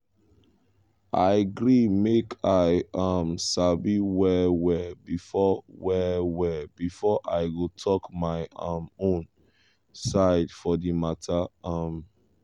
i gree make i um sabi well well before well well before i go talk my um own side for di matter. um